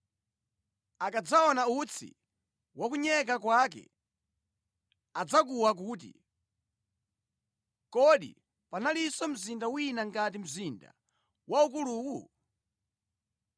Akadzaona utsi wa kunyeka kwake, adzakuwa kuti, ‘Kodi panalinso mzinda wina ngati mzinda waukuluwu?’